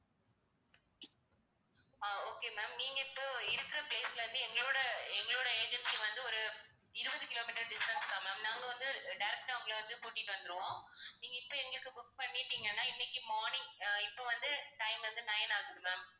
ஆஹ் okay ma'am நீங்க இப்போ இருக்க place ல இருந்து எங்களோட, எங்களோட agency வந்து ஒரு இருபது kilometer distance தான் ma'am. நாங்க வந்து அஹ் direct ஆ உங்களை வந்து கூட்டிட்டு வந்துருவோம். நீங்க இப்ப எங்களுக்கு book பண்ணிட்டீங்கன்னா இன்னைக்கு morning அஹ் இப்ப வந்து time வந்து nine ஆகுது ma'am